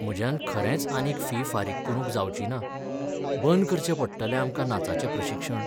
म्हज्यान खरेंच आनीक फी फारीक करूंक जावची ना, बंद करचें पडटलें आमकां नाचाचें प्रशिक्षण.